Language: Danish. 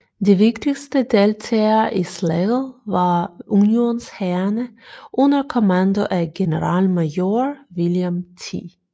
De vigtigste deltagere i slaget var unionshærene under kommando af generalmajor William T